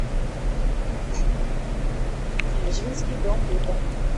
эжвинский дом быта